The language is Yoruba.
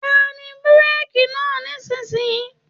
Tẹ bureki náà nisinyi!.